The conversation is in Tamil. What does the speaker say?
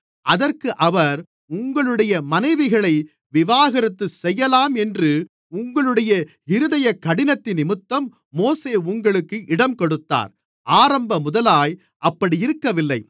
அதற்கு அவர் உங்களுடைய மனைவிகளை விவாகரத்து செய்யலாம் என்று உங்களுடைய இருதயக்கடினத்தினிமித்தம் மோசே உங்களுக்கு இடங்கொடுத்தார் ஆரம்பமுதலாய் அப்படியிருக்கவில்லை